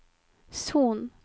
Son